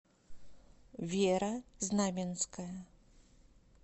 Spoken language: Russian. вера знаменская